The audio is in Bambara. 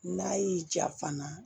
N'a y'i ja fana